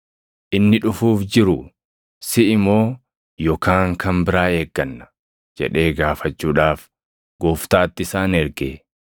“Inni dhufuuf jiru siʼi moo yookaan kan biraa eegganna?” jedhee gaafachuudhaaf Gooftaatti isaan erge.